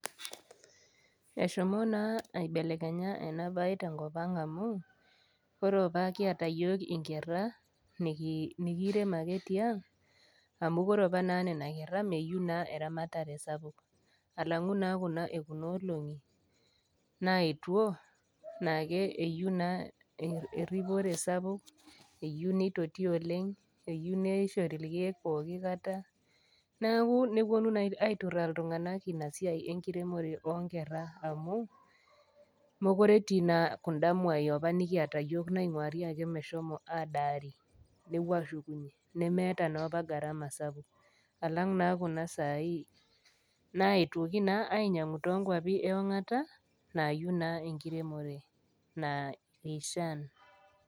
Eshomo naa aibelekenya ena bae tenkop ang' amu, ore opa kiata iyiok inkera, niiirem ake tiang' amu ore opa naa nena kera mayou naa eramatare sapuk, alang'u naa kuna e kuna olong'i naetuo, naake keyou naa eripore sapuk, eyou neitoti oleng' eyou neishori ilkeek pooki kata, neaku newuonu naa aituraa iltung'ana ina siai enkiremore oo nkera amu, mekure etii naa kunda mwai nikiata apa amu, mekure etii etii naa kunda mwai ap[[a nikiata iyiok nainguari meshomo ake adaari , nepuo aashukunye nemeata naa opa gharama sapuk, alang' naa kuna saai, naetwoki naa ainyang'u too inkwapi e ong'ata naayiou naa enkiremore naikishaan.